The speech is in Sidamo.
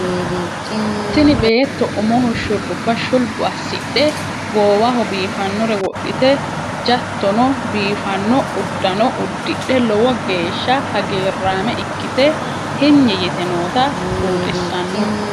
Tini beetto umoho shurrubba shulbu assidhe goowaho biifannore wodhite jattono biiffanno uddano uddidhe lowo geeshsha hagiirraame ikkite hinyi yite noota buuxissanno.